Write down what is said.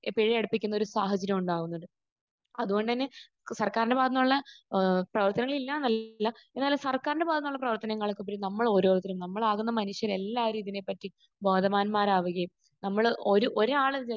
പിഴയടപ്പിക്കുന്നൊരു സാഹചര്യമാണ് ഉണ്ടാകുന്നത്. അതുകൊണ്ട് തന്നെ സർക്കാരിന്റെ ഭാഗത്ത് നിന്നുള്ള ഏഹ് പ്രവർത്തനങ്ങളില്ല എന്നല്ല എന്നാലും സർക്കാരിന്റെ ഭാഗത്ത് നിന്നുള്ള പ്രവർത്തനങ്ങൾക്കുപരി നമ്മൾ ഓരോരുത്തരും നമ്മളാകുന്ന മനുഷ്യർ എല്ലാവരും ഇതിനെ പറ്റി ബോധവാന്മാരാകുകയും നമ്മൾ ഒരു ഒരു ഒരാൾ ഇത്